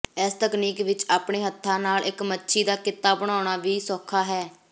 ਇਸ ਤਕਨੀਕ ਵਿਚ ਆਪਣੇ ਹੱਥਾਂ ਨਾਲ ਇਕ ਮੱਛੀ ਦਾ ਕਿੱਤਾ ਬਣਾਉਣਾ ਵੀ ਸੌਖਾ ਹੈ